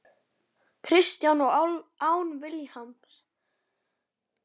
Kristján: Og án Vilhjálms?